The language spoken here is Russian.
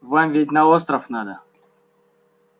вам ведь на остров надо